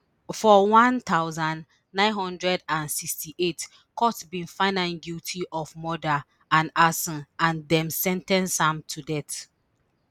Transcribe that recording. for one thousand, nine hundred and sixty-eight court bin find am guilty of murder and arson and dem sen ten ce am to death